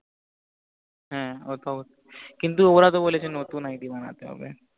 হ্য়াঁ কিন্তু ওরা তো বলেছে নতুন id বানাতে হবে